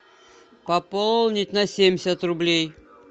пополнить на семьдесят рублей